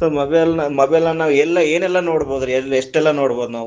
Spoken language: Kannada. so mobile mobile ಅನ್ನ ಎಲ್ಲ ಏನೆಲ್ಲಾ ನೋಡಬಹುದಾ ರೀ ಎಷ್ಟೆಲ್ಲ ನೋಡಬಹುದು ನಾವು.